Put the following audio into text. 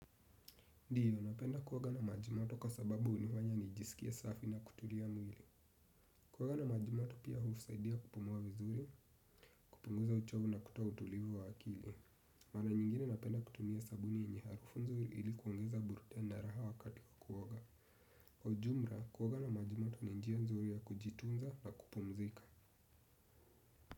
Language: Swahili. Ndio, napenda kuoga na maji moto kwa sababu hunifanya nijisikie safi na kutulia mwili. Kuoga na maji moto pia husaidia kupumua vizuri, kupunguza uchovu na kutoa utulivu wa akili. Mara nyingine napenda kutumia sabuni yenye harufu nzuri ili kuongeza burudani na raha wakati wa kuoga. Kwa ujumla, kuoga na maji moto ni njia nzuri ya kujitunza na kupumzika.